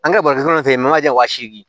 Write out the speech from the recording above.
An kɛra baridan ten ye manje wa seegin